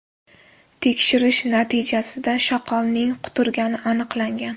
Tekshirish natijasida shoqolning quturgani aniqlangan.